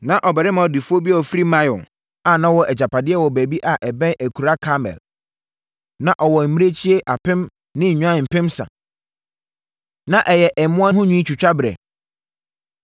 Na ɔbarima ɔdefoɔ bi a ɔfiri Maon a na ɔwɔ agyapadeɛ wɔ baabi a ɛbɛn akuraa Karmel. Na ɔwɔ mmirekyie apem ne nnwan mpensa. Na ɛyɛ mmoa ho nwi twitwa berɛ.